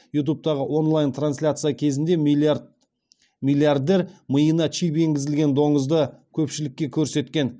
ютубтағы онлайн трансляция кезінде миллиардер миына чип енгізілген доңызды көпшілікке көрсеткен